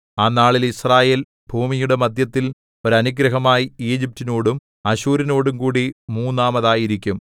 ആ നാളിൽ യിസ്രായേൽ ഭൂമിയുടെ മദ്ധ്യത്തിൽ ഒരു അനുഗ്രഹമായി ഈജിപ്റ്റിനോടും അശ്ശൂരിനോടുംകൂടി മൂന്നാമതായിരിക്കും